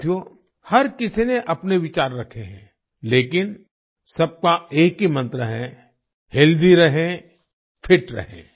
साथियो हर किसी ने अपने विचार रखे हैं लेकिन सबका एक ही मंत्र है हेल्थी रहें फिट रहें